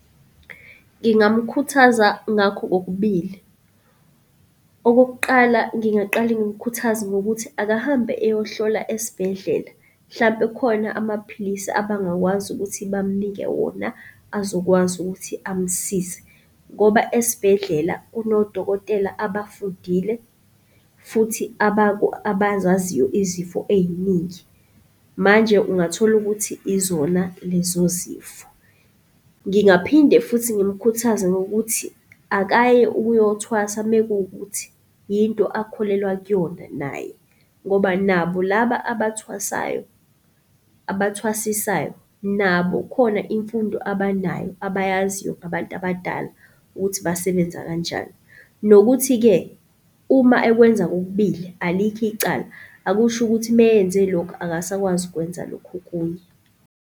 Ngingamkhuthaza ngakho kokubili. Okokuqala ngingaqale ngimkhuthaze ngokuthi akahambe eyohlola esibhedlela, hlampe kukhona amaphilisi abangakwazi ukuthi bamnike wona azokwazi ukuthi amsize ngoba esibhedlela kunodokotela abafundile futhi abazaziyo izifo ey'ningi. Manje ungathola ukuthi izona lezo zifo. Ngingaphinde futhi ngimkhuthaze ngokuthi akaye ukuyothwasa mekuwukuthi yinto akholelwa kuyona naye ngoba nabo laba abathwasayo, abathwasisayo nabo khona imfundo abanayo abayaziyo ngabantu abadala ukuthi basebenza kanjani. Nokuthi-ke uma ekwenza kokubili alikho icala, akusho ukuthi meyenze lokhu akasakwazi ukwenza lokhu okunye.